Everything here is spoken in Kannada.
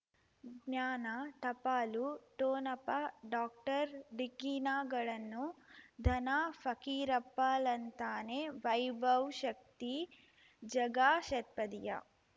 ಜ್ಞಾನ ಟಪಾಲು ಠೋಣಪ ಡಾಕ್ಟರ್ ಢಿಕ್ಕಿ ಣಗಳನು ಧನ ಫಕೀರಪ್ಪ ಳಂತಾನೆ ವೈಭವ್ ಶಕ್ತಿ ಝಗಾ ಷಟ್ಪದಿಯ